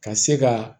Ka se ka